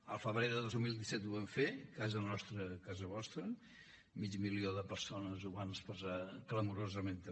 al febrer de dos mil disset ho vam fer casa nostra casa vostra mig milió de persones ho van expressar clamorosament també